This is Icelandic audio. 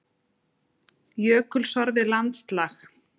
Jökulsorfið landslag.